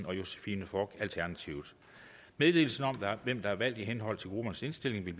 og josephine fock meddelelse om hvem der er valgt i henhold til gruppernes indstilling vil